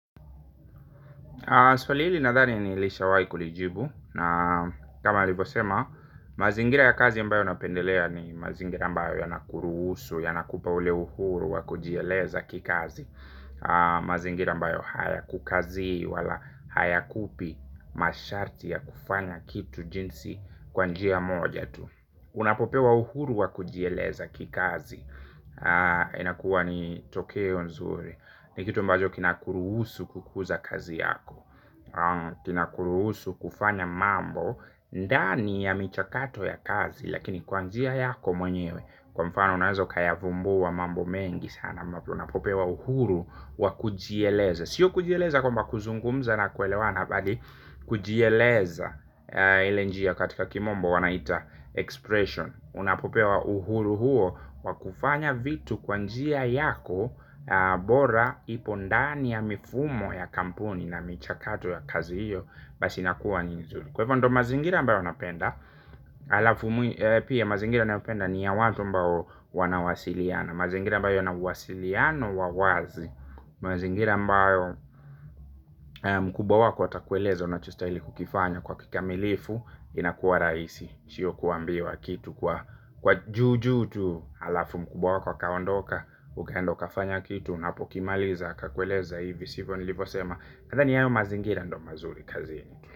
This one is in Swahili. Swali hili nadhani nilishawahi kulijibu na kama nilivyosema mazingira ya kazi ambayo napendelea ni mazingira ambayo yanakuruhusu yanakupa ule uhuru wa kujielezakikazi. Mazingira ambayo haya kukazi wala haya kupi masharti ya kufanya kitu jinsi kwanjia moja tu. Unapopewa uhuru wa kujieleza kikazi. Inakuwa ni tokeo nzuri. Nikitu ambacho kinakuruhusu kukuza kazi yako. Kinakuruhusu kufanya mambo ndani ya michakato ya kazi. Lakini kwanjia yako mwenyewe. Kwa mfano unaweza ukayavumbua mambo mengi sana. Unapopewa uhuru wa kujieleza. Sio kujieleza kwamba kuzungumza na kuelewa na bali kujieleza ilenjia katika kimombo wanaita expression unapopewa uhuru huo wakufanya vitu kwanjia yako bora ipondani ya mifumo ya kampuni na michakato ya kazi hiyo basi inakuwa ninzuri kwahivondo mazingira ambayo napenda alafu pia mazingira nayopenda ni ya watu ambao wanawasiliana mazingira ambayo yanauwasiliano wawazi mazingira ambayo mkubwa wako atakueleza unachostahili kukifanya kwa kikamilifu inakua rahisi sio kuambiwa kitu kwa juu juu tu halafu mkubwa wako akaondoka ukaenda ukafanya kitu unapokimaliza akakueleza hivi sivyo nilivyosema nadhani hayo mazingira ndo mazuri kazini tu.